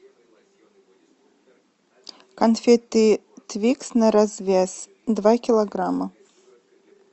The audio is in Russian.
конфеты твикс на развес два килограмма